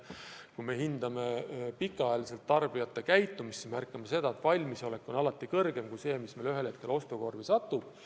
Kui me hindame pikaajalist tarbijate käitumist, siis märkame, et valmisolek on alati suurem kui see, mis meil tegelikult ostukorvi satub.